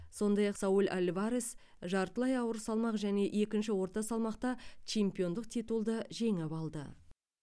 сондай ақ сауль альварес жартылай ауыр салмақ және екінші орта салмақта чемпиондық титулды жеңіп алды